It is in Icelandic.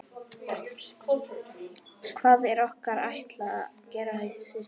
Hvað er okkur ætlað að gera í þessu starfi?